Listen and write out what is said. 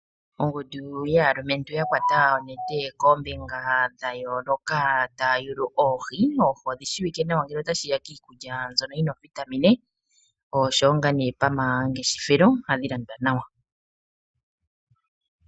Ongundu yaalumentu ya kwata onete koombinga dha yooloka taya yulu oohi. Oohi odhi shiwike nawa ngele otashi ya kiikulya mbyono yi na oovitamine noshowo pamangeshefelo ohadhi landwa nawa.